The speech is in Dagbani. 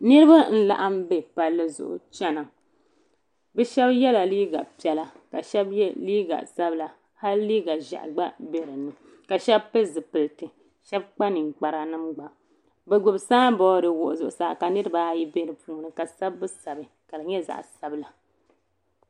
Niriba n laɣim be palli zuɣu chena bɛ Sheba yela liiga piɛla ka Sheba ye liiga sabla hali liiga ʒehi gba be dinni ka Sheba pili zipilti Sheba kpa ninkpara nima gba bɛ gbibi samboori wuɣi zuɣusaa ka niriba ayi be dinni ka sabbu sabi ka di nyɛ zaɣa sabla.